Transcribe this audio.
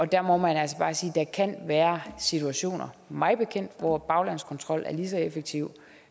der må man altså bare sige at der kan være situationer mig bekendt hvor baglandskontrol er lige så effektivt